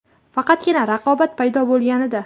Faqatgina raqobat paydo bo‘lganida.